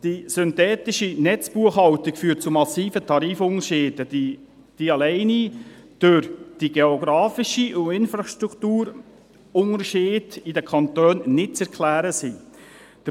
Die synthetische Netzbuchhaltung führt zu massiven Tarifunterschieden, die allein durch geografische und Infrastrukturunterschiede in den Kantonen nicht zu erklären sind.